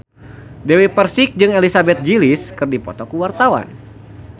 Dewi Persik jeung Elizabeth Gillies keur dipoto ku wartawan